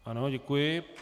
Ano, děkuji.